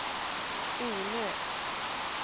Ornö